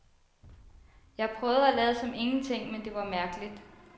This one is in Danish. Jeg prøvede at lade som ingenting, men det var mærkeligt.